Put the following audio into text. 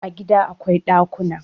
A gida akwai dakuna